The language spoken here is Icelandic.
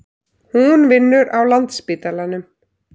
Hún vinnur á Landspítalanum.